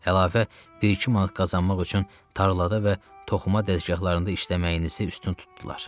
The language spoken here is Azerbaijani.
Əlavə bir-iki manat qazanmaq üçün tarlada və toxuma dəzgahlarında işləməyinizi üstün tutdular.